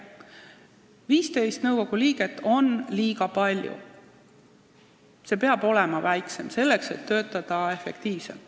15 liiget on liiga palju, nõukogu peab olema väiksem, selleks et töötada efektiivsemalt.